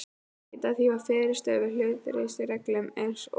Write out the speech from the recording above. Ekkert var því til fyrirstöðu í hlutleysisreglum, en eins og